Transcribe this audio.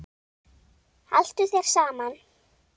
Haltu þér saman